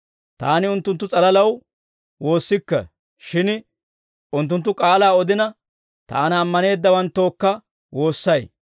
«Taani unttunttu s'alalaw woossikke; shin unttunttu k'aalaa odina, Taana ammaneeddawanttookka woossay.